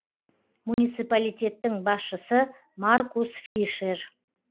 муниципалитеттің басшысы маркус фишер